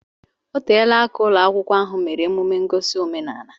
Oteela aka ụlọ akwụkwọ ahụ mere emume ngosi omenaala